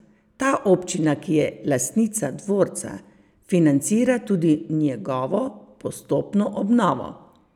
Ta občina, ki je lastnica dvorca, financira tudi njegovo postopno obnovo.